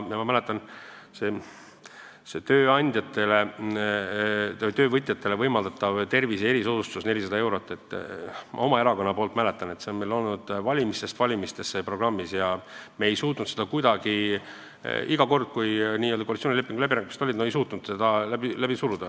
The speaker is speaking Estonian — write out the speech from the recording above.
Ma mäletan, et töövõtjatele võimaldatav tervise erisoodustus 400 eurot on olnud valimistest valimistesse meie erakonna programmis, aga me ei ole kunagi suutnud seda koalitsioonilepingu läbirääkimiste käigus läbi suruda.